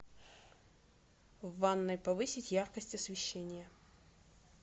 в ванной повысить яркость освещения